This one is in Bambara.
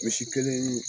Misi kelen